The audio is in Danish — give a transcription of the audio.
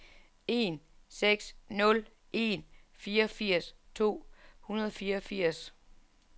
en seks nul en fireogfirs to hundrede og fireogfirs